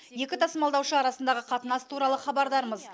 екі тасымалдаушы арасындағы қатынас туралы хабардармыз